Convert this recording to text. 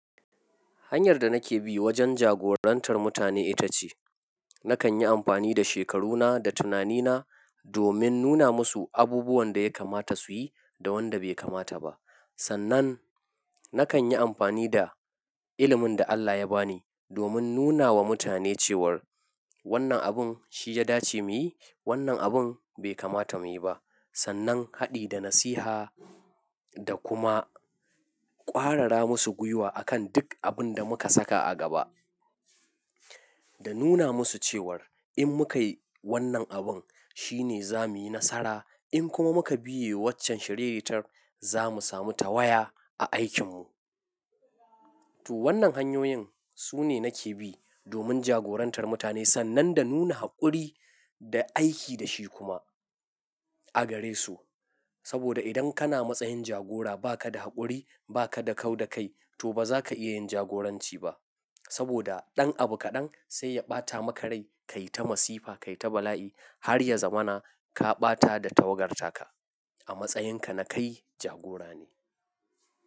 Hanyar da nake bi wajen jagorantar mutane ita ce nakan yi amfani da shekaruna da tunanina domin nuna musu abubuwan da ya kamata su yi da wanda bai kamata ba. Sannan nakan yi amfani da ilimin da Allah ya ba ni domin nuna wa mutane cewar wannan abun shi ya dace mu yi, wannan abun bai kamata mu yi ba. Sannan haɗi da nasiha da kuma ƙwarara musu gwiwa akan duk abin da muka saka a gaba. Da nuna musu cewar in muka yi wannan abun shine za mu yi nasara in kuma muka biye waccan shiriritar za mu samu tawaya a aikinmu. To wannan hanyoyin su ne nake bi domin jagorantar mutane sannan da nuna haƙuri da aiki da shi kuma a gare su. Saboda idan kana matsayin jagora ba ka da haƙuri ba ka da kau da kai to ba za ka iya yin jagoranci ba. Saboda ɗan abu kaɗan sai ya ɓata maka rai ka yi ta masifa, ka yi ta bala'i har ya zamana ka ɓata da tawagar ta ka a matsayinka na kai jagora ne.